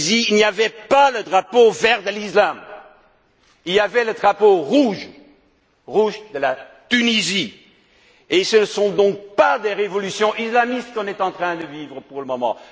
Bouazizi, il n'y avait pas le drapeau vert de l'islam, il y avait le drapeau rouge de la Tunisie, et ce ne sont donc pas des révolutions islamistes qu'on est en train de vivre pour le moment.